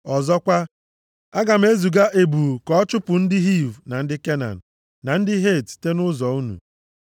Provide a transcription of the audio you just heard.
Ọzọkwa, aga m eziga ebu ka ọ chụpụ ndị Hiv na ndị Kenan na ndị Het site nʼụzọ unu.